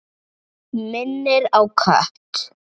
Minnir á kött.